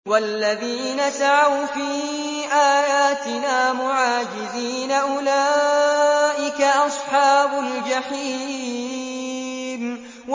وَالَّذِينَ سَعَوْا فِي آيَاتِنَا مُعَاجِزِينَ أُولَٰئِكَ أَصْحَابُ الْجَحِيمِ